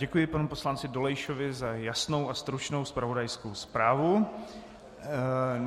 Děkuji panu poslanci Dolejšovi za jasnou a stručnou zpravodajskou zprávu.